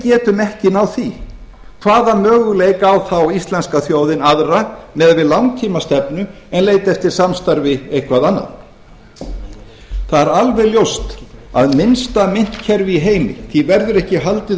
getum ekki náð því hvaða möguleika á þá íslenska þjóðin aðra miðað við langtímastefnu en leita eftir samstarfi eitthvað annað það er alveg ljóst að minnsta myntkerfi í heimi verður ekki haldið